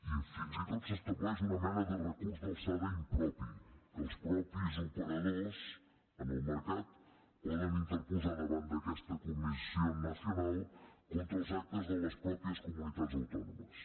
i fins i tot s’estableix una mena de recurs d’alçada impropi que els mateixos operadors en el mercat poden interposar davant d’aquesta comisión nacional contra els actes de les mateixes comunitats autònomes